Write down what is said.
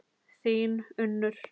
Þín, Unnur.